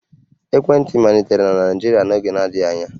Ekwentị malitere na Naịjirịa n'oge na-adịghị anya